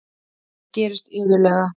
Það gerist iðulega.